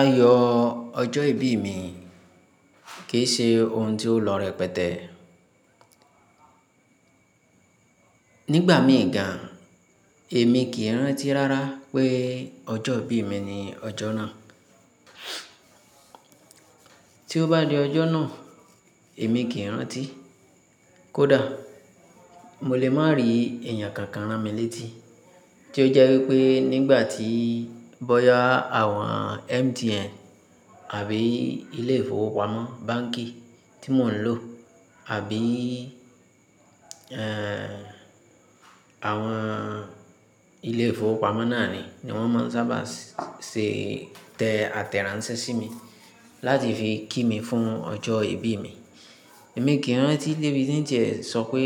Ayọ̀ ọjọ́ ìbí mi kì í ṣe ohun tí ó lọ rẹpẹtẹ. Nígbà mìí gàn, èmi kì í rántí rárá pé ọjọ́ ìbí mi ni ọjọ́ náà. Tí ó bá di ọjọ́ náà, èmi kì í rántí. Kódà, mo lè má rí èèyàn kankan rán mi létí tí ó jẹ́ wípé nígbà tí bọ́yá àwọn MTN àbí ilé ìfowópamọ́ báǹkì tí mò ń lò àbí, àwọn ilé ìfowópamọ́ náà ni, ni wọ́n máa ń sábà ṣé tẹ àtẹ̀ránsẹ́ sí mi láti fi kí mi fún ọjọ́ ìbí mi. Èmi kì í rántí dé bi tín tí é sọ pé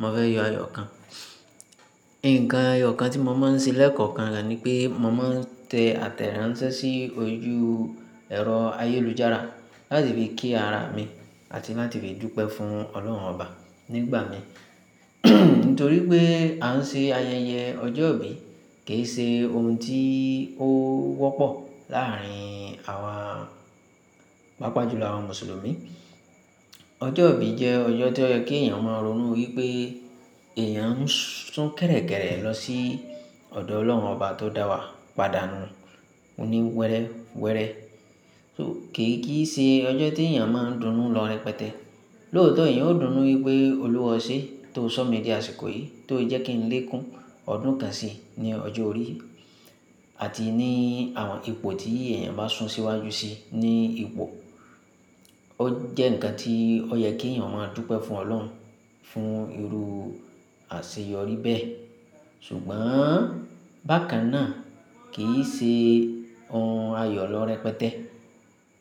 mò fẹ́ yọ ayọ̀ kan. Ǹkan eyọ̀ kan tí mo máa ń ṣe lẹ́ẹ̀kọ̀kan ni pé mò máa ń tẹ àtẹ̀ránsẹ́ sí ojú ẹ̀rọ ayélujára láti fi kí ara mi àti láti fi dúpẹ́ fún Ọlọ́run Ọba nígbà mi. Nítorí pé à ń ṣe ayẹyẹ ọjọ́ ìbí kì í ṣe ohun tí ó wọ́pọ̀ láàárín àwa, pàápàá jùlọ àwọn Mùsùlùmí. Ọjọ́ ìbí jẹ́ ọjọ́ tí ó yẹ kí èèyàn máa ronú wípé èèyàn ń sún kẹ̀rẹ̀kẹ̀rẹ̀ lọ sí ọ̀dọ̀ Ọlọ́run Ọba tó dá wa padà nu. Ó ní wẹ́rẹ́ wẹ́rẹ́. So, kì í kí í ṣe ọjọ́ tí èèyàn máa ń dùnú lọ rẹpẹtẹ. Lóòótọ́ èèyàn ó dùnú wípé olúwa ọ ṣe tó sọ mí di àsìkò yìí tó jẹ́ kí n lékun ọdún kan sì ní ọjọ́ orí, àti ní àwọn ipò tí èèyàn bá sun síwájú sí i ní ipò. Ó jẹ́ ǹkan tí ó yẹ kí èèyàn máa dúpẹ́ fún Ọlọ́run, fún irú àṣeyọrí bẹ́ẹ̀. Ṣùgbọ́n bákan náà kì í ṣe ohun ayọ̀ lọ rẹpẹtẹ.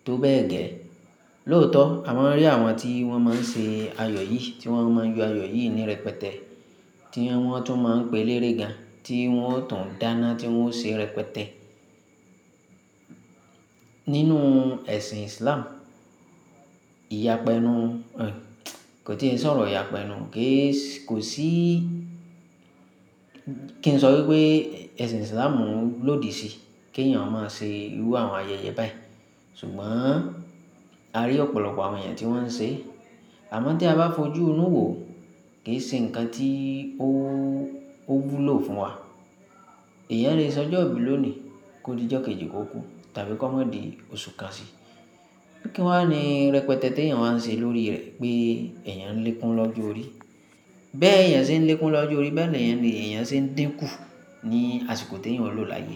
Tó bẹ́ẹ̀ gẹ́, lóòótọ́ a máa rí àwọn tí wọ́n máa ń ṣe ayọ̀ yìí, tí wọ́n máa ń yọ ayọ̀ yìí ní rẹpẹtẹ, tí wọ́n tún máa ń pe elérè gan, tí wọ́n ó tàn dáná tí wọ́n ó ṣe rẹpẹtẹ. Nínú ẹ̀sìn Islam, ìyápẹnu, kò tí é ń sọ̀rọ̀ ìyápẹnu. Kì í sì, kò sí, kí n sọ wípé ẹ̀sìn Islam ń lòdì sí kí èèyàn ó máa ṣe irú àwọn ayẹyẹ bàyi ṣùgbọ́n a rí ọ̀pọ̀lọpọ̀ àwọn èèyàn tí wọ́n ṣe. Àmọ́ tí a bá fojú inú wò, kì í ṣe ǹkan tí ó, ó wú lò fún wa. Ìyẹn lè se ọjọ́ ìbí lónìí kó di jọ́ kejì kó kú tàbí kó má di oṣù kan sì. Kí wà ní rẹpẹtẹ tí èèyàn wá ń ṣe lórí rẹ̀ pé èèyàn ń lékun lọ́jọ́ orí. Kí wà ní rẹpẹtẹ tí èèyàn wá ń ṣe lórí rẹ̀ pé èèyàn ń lékun lọ́jọ́ orí.